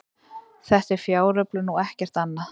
Þetta er fjáröflun og ekkert annað